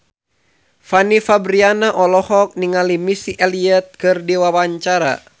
Fanny Fabriana olohok ningali Missy Elliott keur diwawancara